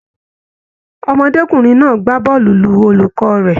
Ọmọdékunrin náà gbà bọọlu lù olùkọ rẹ.